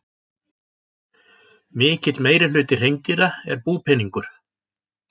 Mikill meirihluti hreindýra er búpeningur.